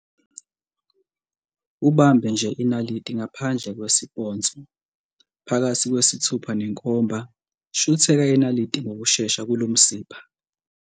Ubambe nje inaliti, ngaphandle kwesipontsho, phakathi kwesithupha nenkomba, shutheka inaliti ngokushesha kulomsipha.